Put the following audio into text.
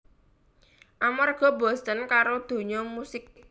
Amarga bosen karo donya musik